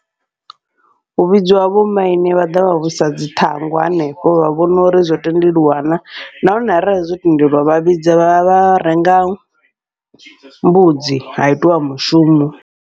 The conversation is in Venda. Hu vhidziwa vho maine vha ḓa vha wisa dzi ṱhangu hanefho, vha vhona uri zwo tendeliwa na nahone arali zwo tendeliwa vha vhidza vha vha renga mbudzi ha itiwa mushumo.